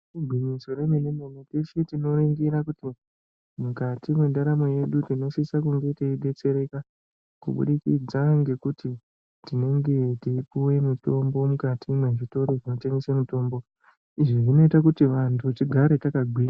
Igwinyiso remene mene teshe tinoringire kuti mukati mwendaramo yedu tinosise kunge teidetsereka kubudikidza ngekuti tinenge teipuwe mitombo mukati mwezvitoro zvinotengese mitombo. Izvi zvinoite kuti vantu tigare takagwinya.